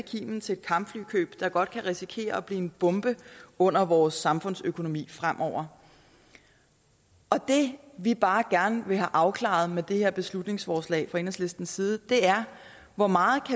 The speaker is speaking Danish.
så kimen til et kampflykøb der godt kan risikere at blive en bombe under vores samfundsøkonomi fremover og det vi bare gerne vil have afklaret med det her beslutningsforslag fra enhedslistens side er hvor meget